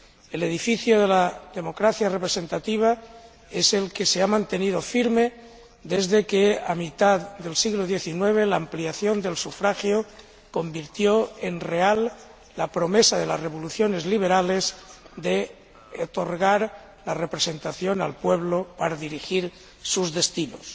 El edificio de la democracia representativa es el que se ha mantenido firme desde que, a mitad del siglo XIX, la ampliación del sufragio convirtió en real la promesa de las revoluciones liberales de otorgar la representación al pueblo, para dirigir sus destinos.